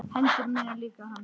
Hendur mínar líka hans.